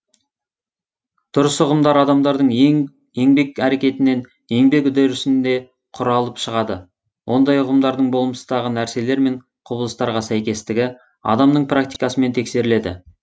дұрыс ұғымдар адамдардың еңбек әрекетінен еңбек үдерісінде құралып шығады ондай ұғымдардың болмыстағы нәрселер мен құбылыстарға сәйкестігі адамның практикасымен тексеріледі